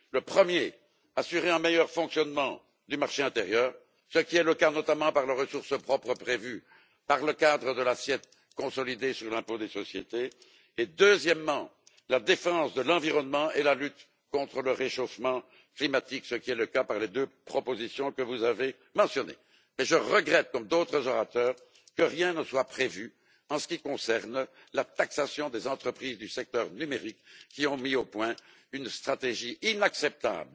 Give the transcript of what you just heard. Premièrement, l'assurance d'un meilleur fonctionnement du marché intérieur, ce qui est le cas notamment par les ressources propres prévues par le cadre de l'assiette consolidée sur l'impôt des sociétés et deuxièmement, la défense de l'environnement et la lutte contre le réchauffement climatique, ce qui est le cas, par les deux propositions que vous avez mentionnées. Mais je regrette comme d'autres orateurs que rien ne soit prévu en ce qui concerne la taxation des entreprises du secteur numérique qui ont mis au point une stratégie inacceptable